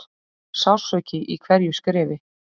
Sársauki í hverju skrefi.